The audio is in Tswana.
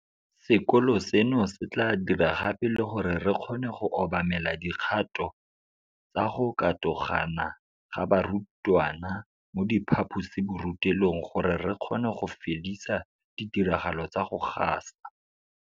Sekolo seno se tla dira gape le gore re kgone go obamela dikgato tsa go katogana ga barutwana mo diphaposiborutelong gore re kgone go fedisa ditiragalo tsa go gasa